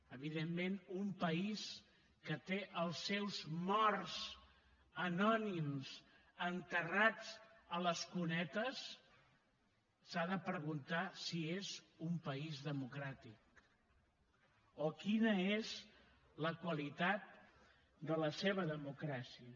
evidentment un país que té els seus morts anònims enterrats a les cunetes s’ha de preguntar si és un país democràtic o quina és la qualitat de la seva democràcia